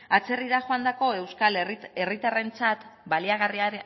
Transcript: atzerrira joandako euskal herritarrentzat